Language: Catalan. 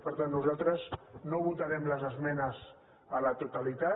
per tant nosaltres no votarem les esmenes a la totali·tat